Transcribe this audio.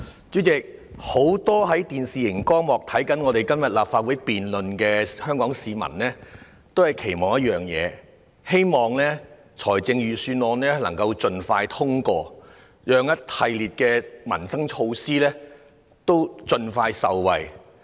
主席，很多收看今天立法會財政預算案辯論電視直播的香港市民皆期望一件事，就是希望預算案能夠盡快通過，讓一系列民生措施可以盡快落實，令市民盡早受惠。